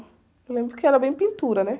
Eu lembro que era bem pintura, né?